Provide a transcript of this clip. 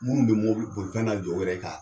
Minnu bɛ mɔbili bolifɛn la jɔ u yɛrɛ k'a